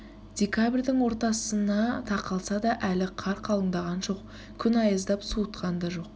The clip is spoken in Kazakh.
декабрьдің ортасына тақалса да әлі қар қалындаған жоқ күн аяздап суытқан да жоқ